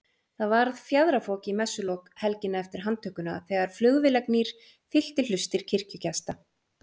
Það varð fjaðrafok í messulok helgina eftir handtökuna þegar flugvélagnýr fyllti hlustir kirkjugesta.